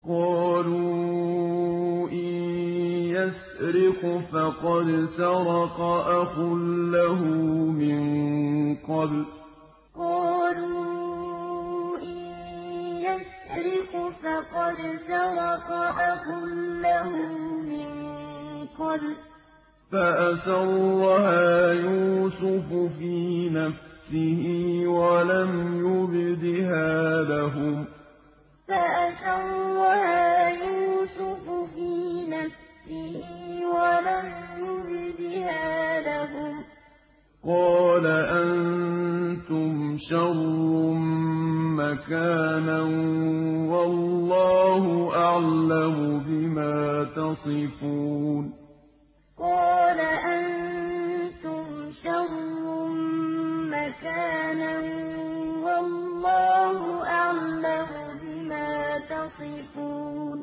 ۞ قَالُوا إِن يَسْرِقْ فَقَدْ سَرَقَ أَخٌ لَّهُ مِن قَبْلُ ۚ فَأَسَرَّهَا يُوسُفُ فِي نَفْسِهِ وَلَمْ يُبْدِهَا لَهُمْ ۚ قَالَ أَنتُمْ شَرٌّ مَّكَانًا ۖ وَاللَّهُ أَعْلَمُ بِمَا تَصِفُونَ ۞ قَالُوا إِن يَسْرِقْ فَقَدْ سَرَقَ أَخٌ لَّهُ مِن قَبْلُ ۚ فَأَسَرَّهَا يُوسُفُ فِي نَفْسِهِ وَلَمْ يُبْدِهَا لَهُمْ ۚ قَالَ أَنتُمْ شَرٌّ مَّكَانًا ۖ وَاللَّهُ أَعْلَمُ بِمَا تَصِفُونَ